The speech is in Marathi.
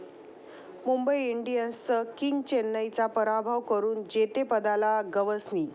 मुंबई इंडियन्सचं 'किंग',चेन्नईचा पराभव करून जेतेपदाला गवसणी